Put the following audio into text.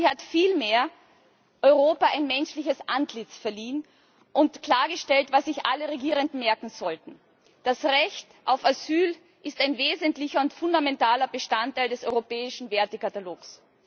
Sie hat vielmehr Europa ein menschliches Antlitz verliehen und klargestellt, was sich alle Regierenden merken sollten Das Recht auf Asyl ist ein wesentlicher und fundamentaler Bestandteil des europäischen Wertekatalogs.